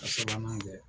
A sabanan kɛ